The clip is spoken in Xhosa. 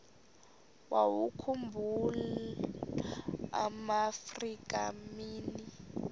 wawakhumbul amaafrika mini